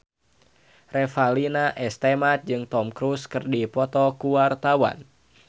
Revalina S. Temat jeung Tom Cruise keur dipoto ku wartawan